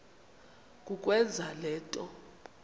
kukwenza le nto